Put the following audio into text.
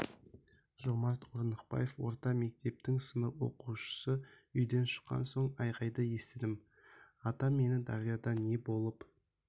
жомарт орнықбаев орта мектептің сынып оқушысы үйден шыққан соң айқайды естідім атам мені дарияда не болып